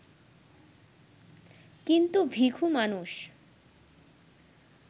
কিন্তু ভিখু মানুষ